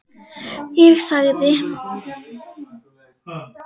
Ég sagði